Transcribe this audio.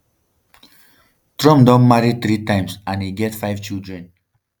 trump don marry three times and e get five children.